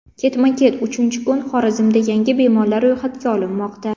Ketma-ket uchinchi kun Xorazmda yangi bemorlar ro‘yxatga olinmoqda.